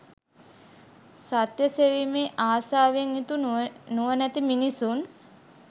සත්‍ය සෙවීමේ ආශාවෙන් යුතු නුවණැති මිනිසුන්